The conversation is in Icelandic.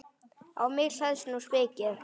Á mig hleðst nú spikið.